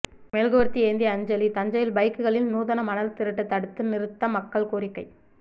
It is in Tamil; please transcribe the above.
மெழுகுவர்த்தி ஏந்தி அஞ்சலி தஞ்சையில் பைக்குகளில் நூதன மணல் திருட்டு தடுத்து நிறுத்த மக்கள் கோரிக்கை